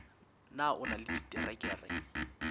na o na le diterekere